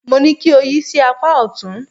Mo ní kí o yí sí apá ọ̀tún.